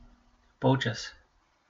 Polčas.